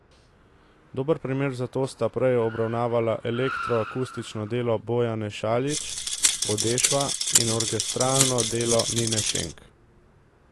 Dober primer za to sta prej obravnavana elektroakustično delo Bojane Šaljić Podešva in orkestralno delo Nine Šenk.